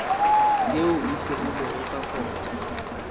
yeo e dirilwego ka kota